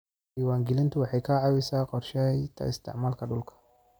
Diiwaangelintu waxay ka caawisaa qorshaynta isticmaalka dhulka.